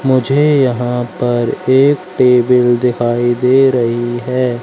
मुझे यहां पर एक टेबल दिखाई दे रही हैं।